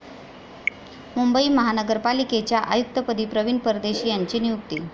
मुंबई महानगरपालिकेच्या आयुक्तपदी प्रवीण परदेशी यांची नियुक्ती